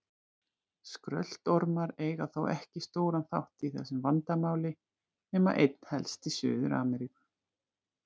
Skröltormar eiga þó ekki stóran þátt í þessu vandamáli nema einna helst í Suður-Ameríku.